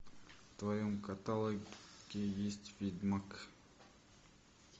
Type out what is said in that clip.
в твоем каталоге есть ведьмак